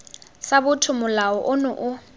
sa botho molao ono o